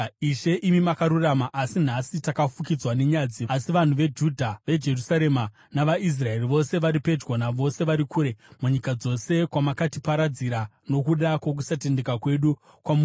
“Ishe, imi makarurama, asi nhasi takafukidzwa nenyadzi, vanhu veJudha navanhu veJerusarema navaIsraeri vose, vari pedyo navose vari kure, munyika dzose kwamakatiparadzira nokuda kwokusatendeka kwedu kwamuri.